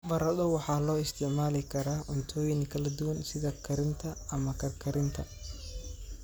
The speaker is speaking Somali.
Baradho waxaa loo isticmaali karaa cuntooyin kala duwan sida karinta ama karkarinta.